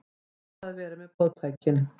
Neita að vera með boðtækin